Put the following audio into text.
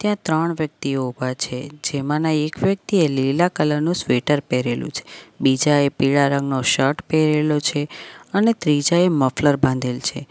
ત્યાં ત્રણ વ્યક્તિઓ ઊભા છે જેમાંના એક વ્યક્તિએ લીલા કલર નું સ્વેટર પહેરેલું છે બીજા એ પીળા રંગનો શર્ટ પહેરેલો છે અને ત્રીજાએ મફલર બાંધેલ છે.